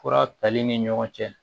Fura tali ni ɲɔgɔn cɛ